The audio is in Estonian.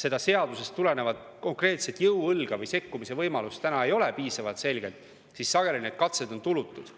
seadusest tulenevat konkreetset jõuõlga või piisavalt selget sekkumise võimalust täna ei ole, siis sageli need katsed on tulutud.